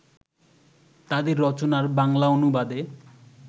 তাঁদের রচনার বাংলা অনুবাদে